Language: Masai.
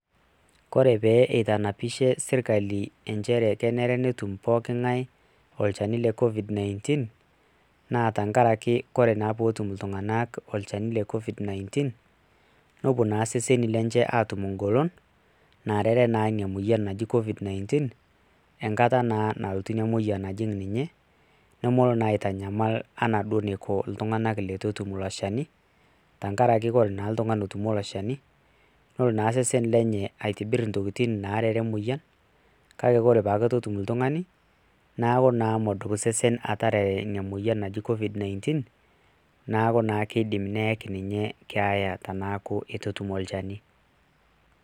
kore pee eitanapishe sirkali inchere kenare netum pooking'ae olchani le covid-19,naa tenkaraki ore naa peetum iltunganak olchani le covid-19,nepuo naa seseni lenye aatum egolon, neerere naa ina moyian naji covid-19 enkata naa nalotu ina moyian alotu ajing' ninye. nemelo naa aitanyamal, anaa iltunganak leitu etum ilo shani, tenkaraki ore naa oltungani otutumo ilo shani. ore naa sesen lenye aitibir intokitin naarare emoyian, kake ore pee etum iltung'anak, neeku naa medup osesen ataarare ina moyian naji covid-19 neeku naa keidim ayaki ninye keeya teneeku keitu etum olchani.